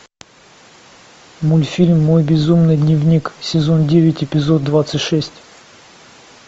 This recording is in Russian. мультфильм мой безумный дневник сезон девять эпизод двадцать шесть